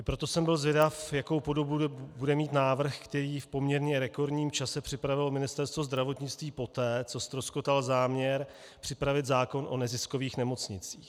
I proto jsem byl zvědav, jakou podobu bude mít návrh, který v poměrně rekordním čase připravilo Ministerstvo zdravotnictví poté, co ztroskotal záměr připravit zákon o neziskových nemocnicích.